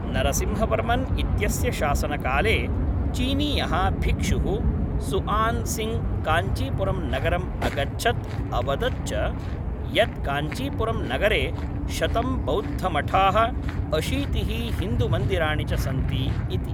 नरसिंहवर्मन् इत्यस्य शासनकाले चीनीयः भिक्षुः सुअन्सीङ्ग् काञ्चीपुरं नगरम् अगच्छत् अवदत् च यत् काञ्चीपुरं नगरे शतं बौद्धमठाः, अशीतिः हिन्दुमन्दिराणि च सन्ति इति।